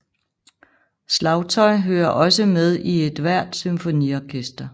Slagtøj hører også med i ethvert symfoniorkester